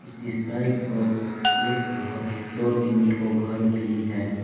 इसकी साइड पर एक अह दो तीन ठो घर भी हैं।